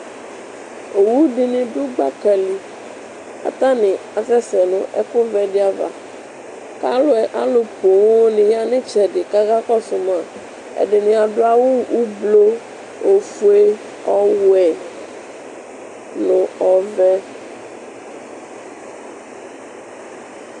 Owʋ dɩnɩ dʋ gbakalɩ atanɩ asɛsɛ nʋ ɛkʋvɛ dɩ ava kalʋ ƒoo nɩ ya nʋ ɩtsɛdɩ kaka kɔsʋ mʋa ɛdɩnɩ adʋ awʋ ʋblʋ ofʋe ɔwɛ nʋ ɔvɛ